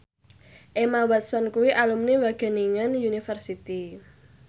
Emma Watson kuwi alumni Wageningen University